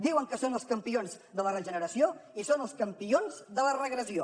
diuen que són els campions de la regeneració i són els campions de la regressió